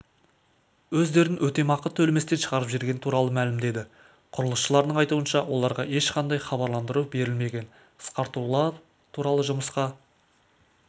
өздерін өтемақы төлеместен шығарып жібергені туралы мәлімдеді құрылысшылардың айтуынша оларға ешқандай хабарландыру берілмеген қысқартулар туралыжұмысқа